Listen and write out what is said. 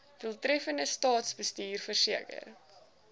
doeltreffende staatsbestuur verseker